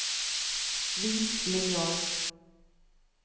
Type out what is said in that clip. vis linjal